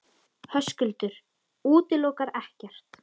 Höskuldur: Útilokar ekkert?